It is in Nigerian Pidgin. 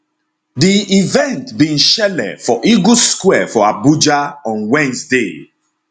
di event bin shele for eagle square for abuja on wednesday